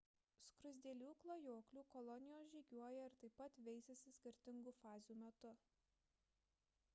skruzdėlių klajoklių kolonijos žygiuoja ir taip pat veisiasi skirtingų fazių metu